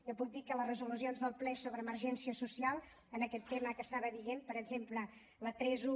jo puc dir que les resolucions del ple sobre emergència social en aquest tema que estava dient per exemple la trenta un